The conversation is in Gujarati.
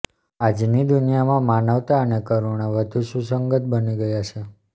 આજની દુનિયામાં માનવતા અને કરૂણા વધુ સુસંગત બની ગયા છે